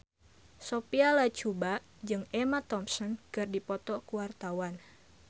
Sophia Latjuba jeung Emma Thompson keur dipoto ku wartawan